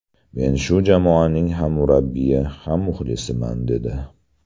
Men shu jamoaning ham murabbiyi, ham muxlisiman”, dedi.